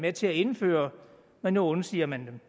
med til at indføre men nu undsiger man